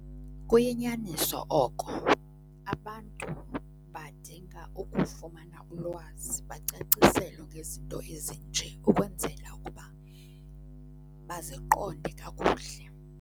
Kuyinyaniso oko, abantu badinga ukufumana ulwazi bacaciselwe ngezinto ezinje ukwenzela ukuba baziqonde kakuhle.